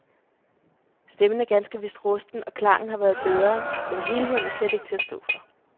Stemmen er ganske vist rusten, og klangen har været bedre, men helheden er slet ikke til at stå for.